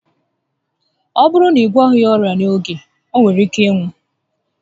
Ọ bụrụ na ị gwọghị ya ọrịa n'oge, o nwere ike ịnwụ